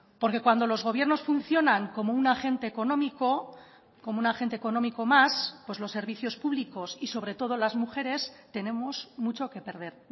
porque cuando los gobiernos funcionan como un agente económico como un agente económico más pues los servicios públicos y sobre todo las mujeres tenemos mucho que perder